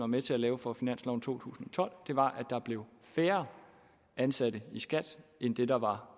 med til at lave for finansloven to tusind og tolv var at der blev færre ansatte i skat end det der var